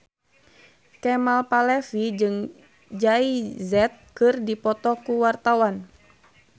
Kemal Palevi jeung Jay Z keur dipoto ku wartawan